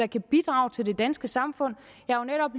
kan bidrage til det danske samfund jeg har netop